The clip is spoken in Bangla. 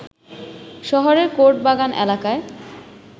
শহরের কোর্ট বাগান এলাকায়